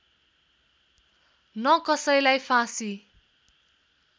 न कसैलाई फाँसी